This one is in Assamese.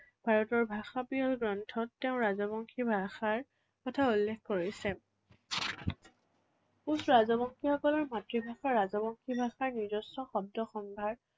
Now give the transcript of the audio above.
ভাৰতৰ ভাষাপ্ৰিয় গ্ৰন্থত তেঁও ৰাজবংশী ভাষাৰ কথা উল্লেখ কৰিছে। কোচ ৰাজবংশীসকলৰ মাতৃভাষা ৰাজবংশী ভাষাৰ নিজস্ব শব্দ সম্ভাৰ